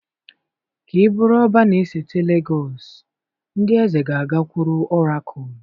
Ka ị bụrụ Ọbá na-esote Legọs ndị eze ga-agakwuru ọrakụlụ